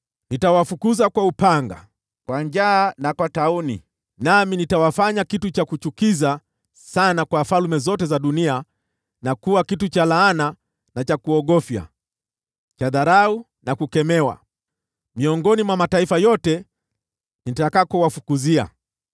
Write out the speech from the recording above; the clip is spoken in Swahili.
Nitawafukuza kwa upanga, kwa njaa na kwa tauni, nami nitawafanya kitu cha kuchukiza sana kwa falme zote za dunia, na kuwa kitu cha laana na cha kuogofya, cha dharau na kukemewa, miongoni mwa mataifa yote nitakakowafukuzia.